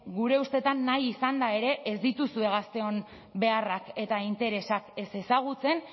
gure ustetan nahi izanda ere ez dituzue gazteon beharrak eta interesak ez ezagutzen